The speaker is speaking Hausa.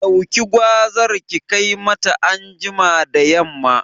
Ɗauki gwazar ki kai mata anjima da yamma